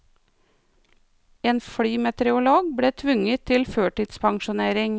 En flymeteorolog ble tvunget til førtidspensjonering.